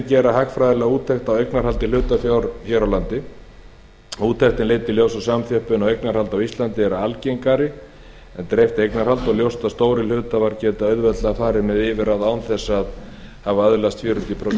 gera hagfræðilega úttekt á eignarhaldi hlutafjár hér á landi úttektin leiddi í ljós að samþjöppun á eignarhaldi á íslandi er algengari en dreift eignarhald og ljóst að stórir hluthafar geta auðveldlega farið með yfirráð án þess að hafa öðlast fjörutíu prósent